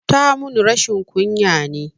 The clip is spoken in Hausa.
Tamun rashin ƙunya ne